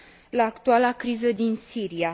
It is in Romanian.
la actuala criză din Siria.